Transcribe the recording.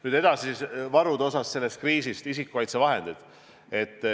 Nüüd edasi, varud selle kriisi valguses, isikukaitsevahendid.